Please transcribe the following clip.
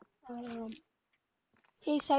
আহ এই side গুলোতে